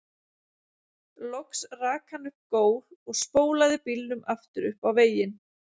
Loks rak hann upp gól og spólaði bílnum aftur upp á veginn.